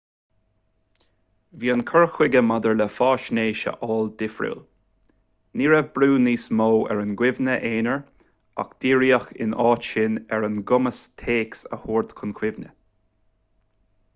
bhí an cur chuige maidir le faisnéis a fháil difriúil ní raibh brú níos mó ar an gcuimhne aonair ach díríodh ina áit sin ar an gcumas téacs a thabhairt chun cuimhne